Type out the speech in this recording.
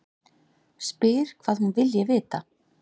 Spyr hvað hún vilji vita.